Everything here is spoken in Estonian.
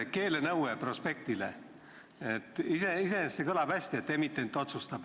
Keelenõue prospekti kohta – iseenesest see kõlab hästi, et emitent otsustab.